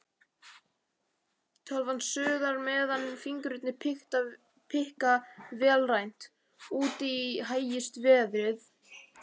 Tölvan suðar meðan fingurnir pikka vélrænt, úti hægist veðrið.